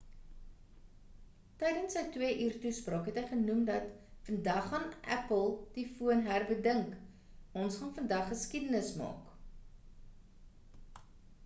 tydens sy 2 uur toespraak het hy genoem dat vandag gaan apple die foon herbedink ons gaan vandag geskiedenis maak